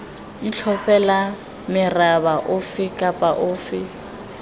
itlhophela meraba efe kapa efe